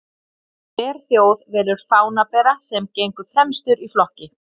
Hver þjóð velur fánabera sem gengur fremstur í flokki.